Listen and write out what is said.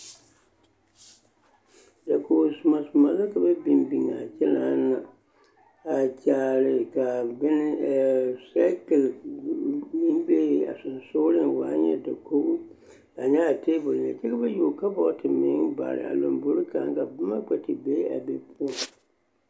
Dakogi zomɔ zomɔ la ka ba biŋ biŋaa kyɛnaana a kyaare ka bone sɛɛkili meŋ be a sonsooleŋ waa nyɛ dakogi a nyɛ a teebol meŋ kyɛ ka ba yuo kabɔɔte meŋ bare a lombori kaŋ k'a boma kpɛ te be a be poɔ.